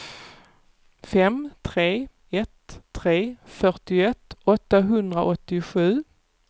fem tre ett tre fyrtioett åttahundraåttiosju